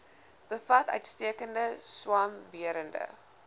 bevat uitstekende swamwerende